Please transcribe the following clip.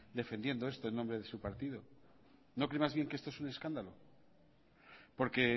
defendiendo esto en nombre de su partido no cree más bien que esto es un escándalo porque